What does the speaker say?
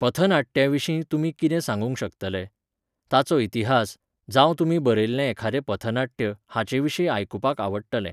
पथनाट्याविशीं तुमी किदें सांगूंक शकतले? ताचो इतिहास, जावं तुमी बरयल्लें एखाद्रें पथनाट्य, हाचेविशीं आयकुपाक आवडटलें